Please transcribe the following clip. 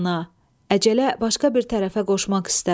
Əcələ başqa bir tərəfə qoşmaq istər.